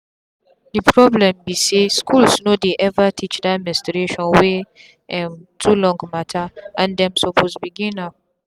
the problem be say schools no dey ever teach that menstruation wey um too long matterand dem suppose begin am.